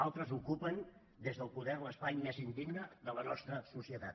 altres ocupen des del poder l’espai més indigne de la nostra societat